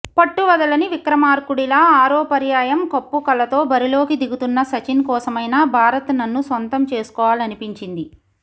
పట్టువదలని విక్రమార్కుడిలా ఆరో పర్యాయం కప్పు కలతో బరిలోకి దిగుతున్న సచిన్ కోసమైనా భారత్ నన్ను సొంతం చేసుకోవాలనిపించింది